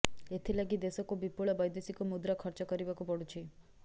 ଏଥିଲାଗି ଦେଶକୁ ବିପୁଳ ବୈଦେଶିକ ମୁଦ୍ରା ଖର୍ଚ୍ଚ କରିବାକୁ ପଡ଼ୁଛି